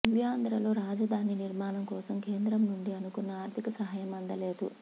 నవ్యాంధ్రలో రాజధాని నిర్మాణం కోసం కేంద్రం నుండి అనుకున్న ఆర్థిక సహాయం అందలేదు